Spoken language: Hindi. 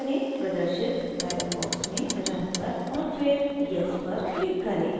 प्रदर्शित dialog box में run पर और फिर yes पर click करें